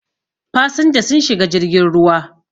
fasinja sun shiga jirgin ruwa